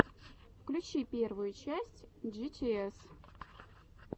включи первую часть джитиэс